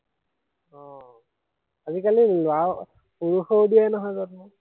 আহ আজিকালি লৰা, পুৰুষেও দিয়ে নহয় জন্ম